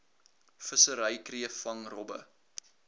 vissery kreefvang robbe